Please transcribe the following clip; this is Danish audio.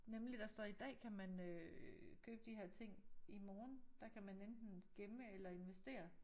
Nemlig der står i dag kan man øh købe de her ting i morgen der kan man enten gemme eller investere